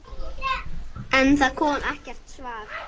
En það kom ekkert svar.